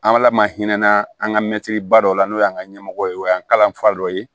An bala mahinɛ an ka mɛtiri ba dɔw la n'o y'an ka ɲɛmɔgɔ ye o y'an kalan fa dɔ ye